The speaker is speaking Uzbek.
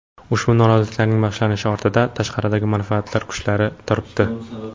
Ushbu noroziliklarning boshlanishi ortida tashqaridagi manfaatdor kuchlar turibdi.